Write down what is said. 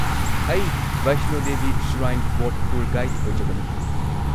ꯑꯩ Vaishno Devi shrine board tour guide ꯑꯣꯏꯖꯕꯅꯤ꯫